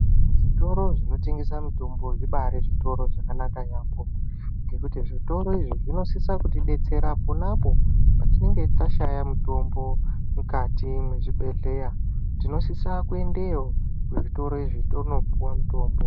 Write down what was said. Zvitoro zvinotengesa mutombo zvibari zvitoro zvakanaka yaambo ngekuti zvitoro izvi zvinosisa kutidetsera ponapo patinenge tashaya mutombo mukati mezvibhedhleya tinosisa kuendeyo kuzvitoro izvi tonopuwa mutombo.